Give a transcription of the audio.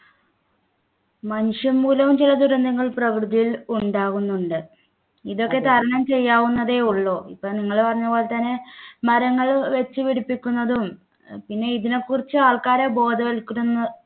മനുഷ്യൻ മൂലവും ചില ദുരന്തങ്ങൾ പ്രകൃതിയിൽ ഉണ്ടാകുന്നുണ്ട് ഇതൊക്കെ തരണം ചെയ്യാവുന്നതേയുള്ളൂ ഇപ്പോൾ നിങ്ങൾ പറഞ്ഞ പോലെ തന്നെ മരങ്ങൾ വെച്ചുപിടിപ്പിക്കുന്നതും പിന്നെ ഇതിനെക്കുറിച്ച് ആൾക്കാരെ ബോധവൽക്കരന്ന്